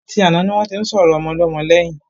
A ti àná ni wọ́n tí ń sọ̀rọ̀ Ọmọlọ́mọ lẹ́yìn.